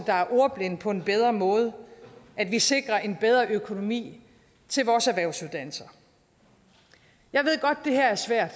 ordblinde på en bedre måde og at vi sikrer en bedre økonomi til vores erhvervsuddannelser jeg ved godt det her er svært